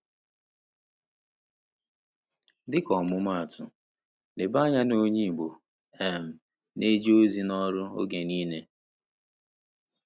Dịka ọmụmaatụ, leba anya na onye Igbo um na-eje ozi n’ọrụ oge niile.